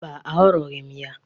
Mba, aghọrịghị m ya.